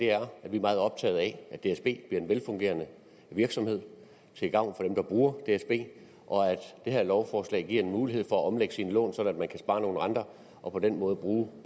er at vi er meget optaget af at dsb bliver en velfungerende virksomhed til gavn for dem der bruger dsb og at det her lovforslag giver en mulighed for at omlægge sine lån sådan at man kan spare nogle renter og på den måde bruge